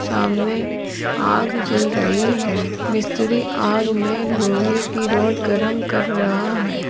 सामने आग जल रही है मिस्त्री आग में लोहे की रॉड गर्म कर रहा है।